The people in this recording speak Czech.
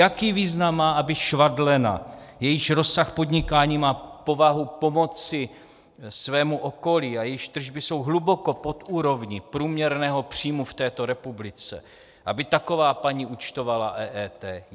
Jaký význam má, aby švadlena, jejíž rozsah podnikání má povahu pomoci svému okolí a jejíž tržby jsou hluboko pod úrovní průměrného příjmu v této republice, aby taková paní účtovala EET?